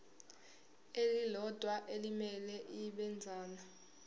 elilodwa elimele ibinzana